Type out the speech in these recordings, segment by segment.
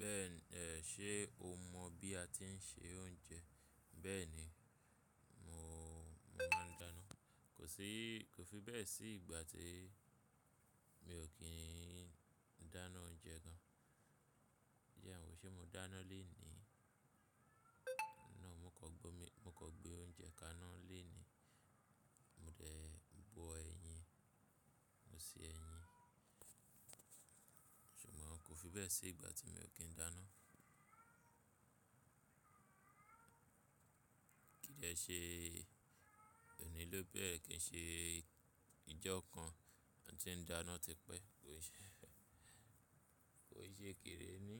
Bẹ́ẹ̀ni ẹ, ṣe o mọ̀ bí a ti ń ṣe oúnjẹ? Bẹ́́ẹ̀ni mo, mo máa ń dáná. Kò sí, kò fi bẹ́ẹ̀ sí ìgbà tí mi ò kí n dáná oúnjẹ gan. Jẹ́ n wọ ṣe mo dáná lèní, no, mó kan gbé oúnjẹ kaná léní, mo dè bo ẹyin, mo se ẹyin. Ṣùgbọ́n kò fi bẹ́ẹ̀ sí ìgbà tí mi ò kí n dáná. Kí i dẹ́ ṣe òní ló bẹ́rẹ̀-- kí i ṣe ijọ kan taa tí ń dáná tipẹ́? Kò ì ṣe, kò ì ṣe kéré mi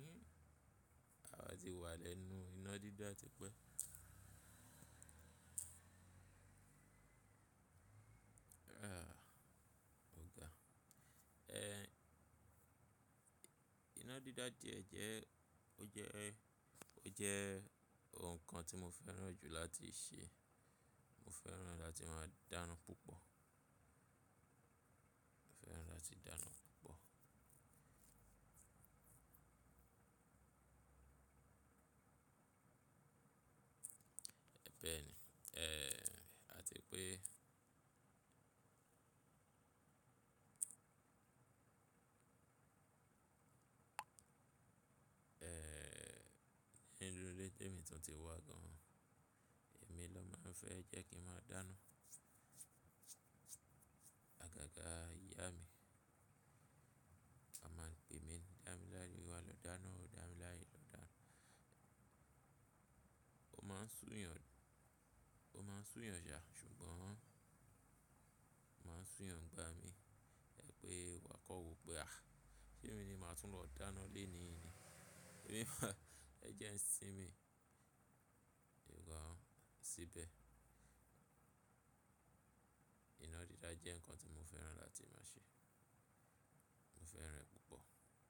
àwa ti wà lẹ́nu iná dídá tipẹ́. Ah oga, ẹ iná dídá de jẹ́, ó jẹ́, ó jẹ́ nǹkan tí mo fẹ́ràn jù láti ṣe. Mo fẹ́ràn láti máa dáná púpọ̀. Mo fẹ́ràn láti máa dáná púpọ̀. Ẹ bẹ́ẹ̀ni ẹ, a ti pé ẹ, nínú ilé tí èmi tun tí wà gan-an, èmi ló máa ń fẹ́ jẹ́ kí n máa dáná. A ga ga iya mi, a máa pè mí, "dámilare wá lọ dáná, damilarè lọ dáná." Ó máa ń sùyàn, ó máa ń sù eeyàn sá ṣùgbọ́n ó máa ń sù eeyàn ni igba mi. Ẹ pé wà maa kokọ̀ wò pe ah, ṣé mi ni màá tún lọ dáná léèní ni? Á jẹ n sínmi. Sugbon síbẹ̀. Iná dídá jẹ́ nǹkan tí mo fẹ́ràn láti máa ṣe. Mo fẹ́ràn rẹ̀ púpọ̀